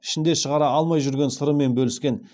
ішінде шығара алмай жүрген сырымен бөліскен